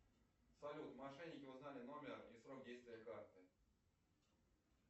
салют мошенники узнали номер и срок действия карты